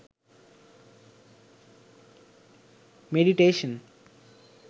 meditation